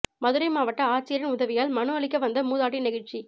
மதுரை மாவட்ட ஆட்சியரின் உதவியால் மனு அளிக்க வந்த மூதாட்டி நெகிழ்ச்சி